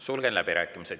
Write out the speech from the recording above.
Sulgen läbirääkimised.